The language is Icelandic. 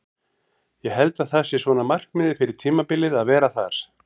Ég held að það sé svona markmiðið fyrir tímabilið að vera þar.